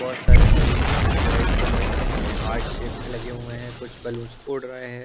बहुत सारे बैलूंस हैं राइड कलर के हैं हार्ट शेप में लगे हुए हैं कुछ बैलूंस उड़ रहे हैं ।